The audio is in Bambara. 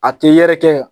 A tɛ yɛrɛkɛ